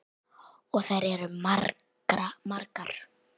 Og þær eru margar.